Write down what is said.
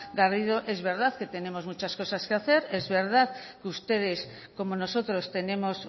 garrido es verdad que tenemos muchas cosas que hacer es verdad que ustedes como nosotros tenemos